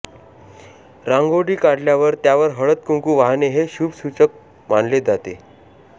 रांगोळी काढल्यावर त्यावर हळद कुंकू वाहणे हे शुभसूचक मानले जाते